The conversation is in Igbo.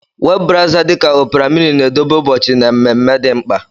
Webụ brawza dị ka Ọpra mịnị na-edobe ụbọchị na mmemme dị mkpa.